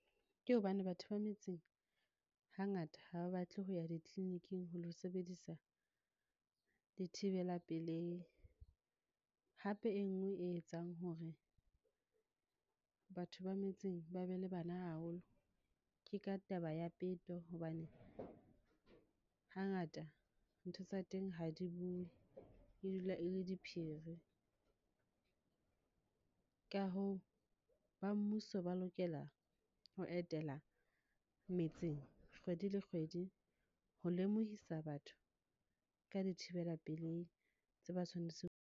Ke hobane batho ba metseng hangata ha ba batle ho ya di-clinic-ing ho lo sebedisa dithibela pelehi. Hape e nngwe e etsang hore batho ba metseng ba be le bana haholo. Ke ka taba ya peto hobane hangata ntho tsa teng ha di bue, e dula e le diphiri. Ka hoo, ba mmuso ba lokela ho etela metseng kgwedi le kgwedi. Ho lemohisa batho ka dithibela pelei tse ba tshwanetseng.